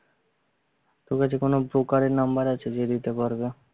তোর কাছে কোনো দোকানের number আছে যে দিতে পারবে?